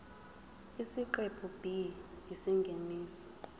isiqephu b isingeniso